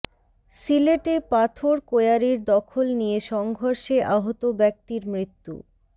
সিলেটে পাথর কোয়ারির দখল নিয়ে সংঘর্ষে আহত ব্যক্তির মৃত্যু